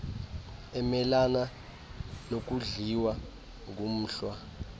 emelana nokudliwa ngumhlwa